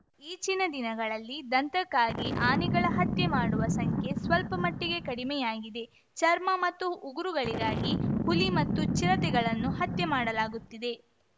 ಈಚಿನ ದಿನಗಳಲ್ಲಿ ದಂತಕ್ಕಾಗಿ ಆನೆಗಳ ಹತ್ಯೆ ಮಾಡುವ ಸಂಖ್ಯೆ ಸ್ವಲ್ಪಮಟ್ಟಿಗೆ ಕಡಿಮೆಯಾಗಿದೆ ಚರ್ಮ ಮತ್ತು ಉಗುರುಗಳಿಗಾಗಿ ಹುಲಿ ಮತ್ತು ಚಿರತೆಗಳನ್ನು ಹತ್ಯೆ ಮಾಡಲಾಗುತ್ತಿದೆ